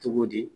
Cogo di